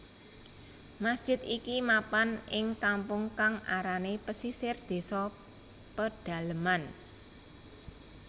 Masjid iki mapan ing kampung kang arané Pesisir désa Pedaleman